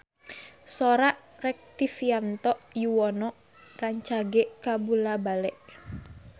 Sora Rektivianto Yoewono rancage kabula-bale